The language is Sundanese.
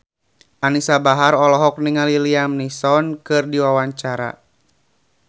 Anisa Bahar olohok ningali Liam Neeson keur diwawancara